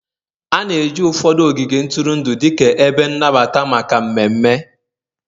A na-eji ụfọdụ ogige ntụrụndụ dịka ebe nnabata maka mmemme